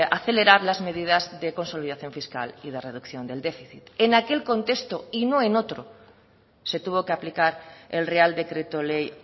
acelerar las medidas de consolidación fiscal y de reducción del déficit en aquel contexto y no en otro se tuvo que aplicar el real decreto ley